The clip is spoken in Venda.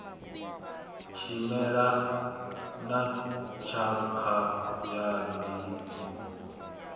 tshimela na tshakha ya ndingo